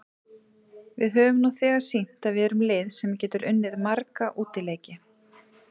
Við höfum nú þegar sýnt að við erum lið sem getur unnið marga útileiki.